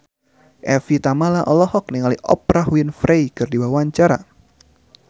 Evie Tamala olohok ningali Oprah Winfrey keur diwawancara